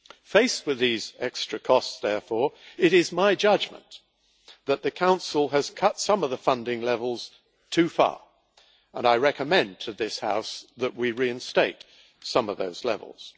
Faced with these extra costs, therefore, it is my judgement that the Council has cut some of the funding levels too far, and I recommend to this House that we reinstate some of those levels.